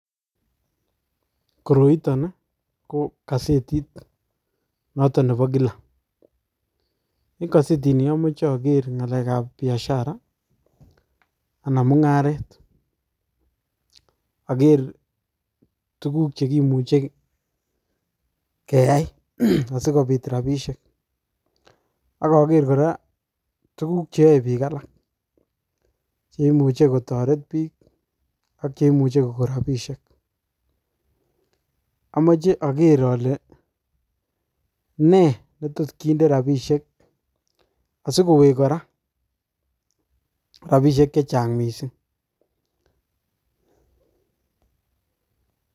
Koroi ton ko kosetit noto nebo kila. En kosetini omoche okere ng'alek ab biashara ana munga'aret , oker tuguk chegimuche keyi asikopiit rapisiek ak oker kora, tuguk cheyoe piik alak chemuche kotoret piik ak cheimuche kogo rapisiek. Amoche oker ole nee netot kinde rapisiek asikowek kora rapisiek chechang' mising